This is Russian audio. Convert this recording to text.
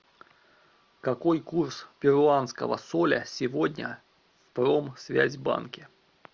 какой курс перуанского соля сегодня в промсвязьбанке